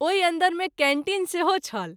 ओहि अन्दर मे कैंटीन सेहो छल।